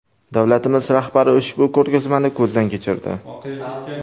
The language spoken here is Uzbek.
Davlatimiz rahbari ushbu ko‘rgazmani ko‘zdan kechirdi.